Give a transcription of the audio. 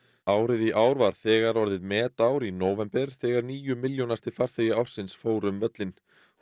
árið í ár var þegar orðið metár í nóvember þegar níu milljónasti farþegi ársins fór um völlinn